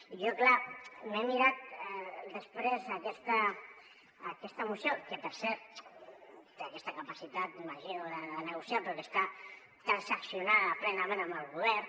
i jo clar m’he mirat després aquesta moció que per cert té aquesta capacitat m’imagino de negociar però que està transaccio·nada plenament amb el govern